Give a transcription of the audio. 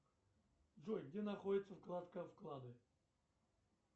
джой где находится вкладка вклады